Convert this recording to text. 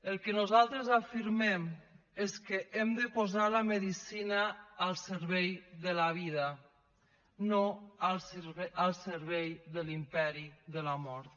el que nosaltres afirmem és que hem de posar la medicina al servei de la vida no al servei de l’imperi de la mort